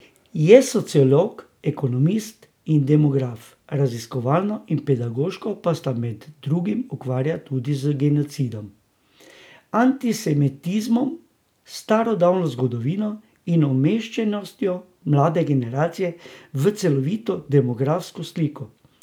Je sociolog, ekonomist in demograf, raziskovalno in pedagoško pa se med drugim ukvarja tudi z genocidom, antisemitizmom, starodavno zgodovino in umeščenostjo mlade generacije v celovito demografsko sliko.